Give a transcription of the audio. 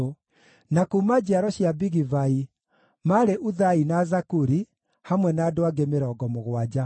na kuuma njiaro cia Bigivai, maarĩ Uthai na Zakuri, hamwe na andũ angĩ 70.